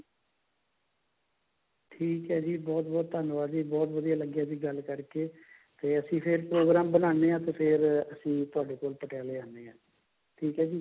ਠੀਕ ਹੈ ਜੀ ਬਹੁਤ ਬਹੁਤ ਧੰਨਵਾਦ ਜੀ ਬਹੁਤ ਵਧੀਆ ਲੱਗਿਆ ਜੀ ਗੱਲ ਕਰਕੇ ਤੇ ਫੇਰ ਅਸੀਂ program ਬਣਾਉਂਦੇ ਹਾਂ ਤੇ ਫੇਰ ਅਸੀਂ ਤੁਹਾਡੇ ਕੋਲ ਪਟਿਆਲੇ ਆਉਂਦੇ ਹਾਂ ਠੀਕ ਹੈ ਜੀ